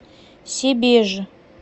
себеж